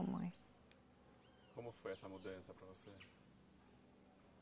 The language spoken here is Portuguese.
Como foi essa mudança para você?